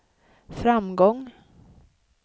framgång